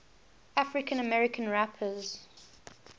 african american rappers